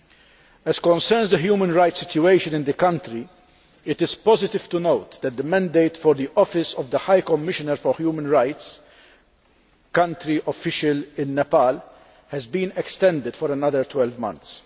Where the human rights situation in the country is concerned, it is positive to note that the mandate of the office of the High Commissioner for Human Rights' official in Nepal has been extended for another 12 months.